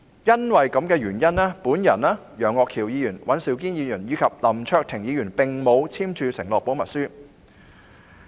基於這個原因，我、楊岳橋議員、尹兆堅議員及林卓廷議員並沒有簽署保密承諾書。